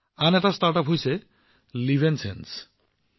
আন এটা ষ্টাৰ্টআপ হৈছে লিভএনচেঞ্চ